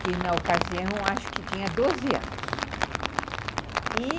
que na ocasião acho que tinha doze anos, e